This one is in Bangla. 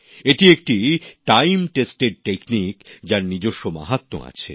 এটি একটি পরীক্ষিত পন্থা যার নিজস্ব মাহাত্ম্য আছে